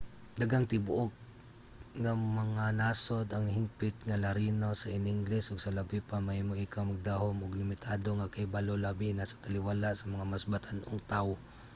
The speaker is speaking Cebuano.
daghang tibuok nga mga nasod ang hingpit nga larino sa iningles ug sa labi pa mahimo ikaw magdahom og limitado nga kahibalo - labi na sa taliwala sa mga mas batan-ong tawo